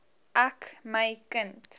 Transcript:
ek my kind